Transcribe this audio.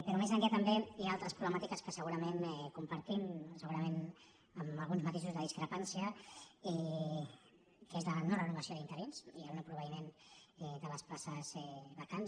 però més enllà també hi ha altres problemàtiques que segurament compartim segurament amb alguns matisos de discrepància que és la no renovació d’interins i el no proveïment de les places vacants